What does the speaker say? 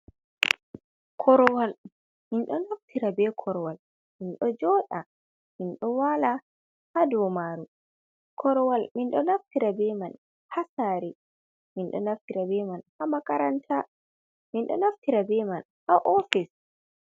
Korwal, minɗo naftira be korwal minɗo joɗa, minɗo wala ha dow maru, korwal minɗo naftira be man ha sari, minɗo naftira bemai ha makaranta, minɗo naftira be man ha ofis.